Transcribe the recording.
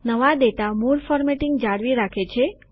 નવા ડેટા મૂળ ફોર્મેટિંગ જાળવી રાખે છે